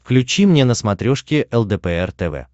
включи мне на смотрешке лдпр тв